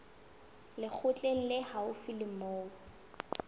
lekgotleng le haufi le moo